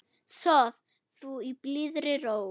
Sof þú í blíðri ró.